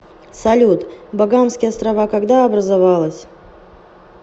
салют багамские острова когда образовалась